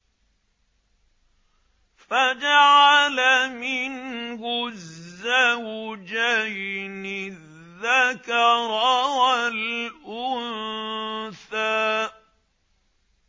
فَجَعَلَ مِنْهُ الزَّوْجَيْنِ الذَّكَرَ وَالْأُنثَىٰ